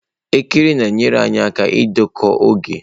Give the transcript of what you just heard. Elekere na-enyere anyị aka ịdekọ oge.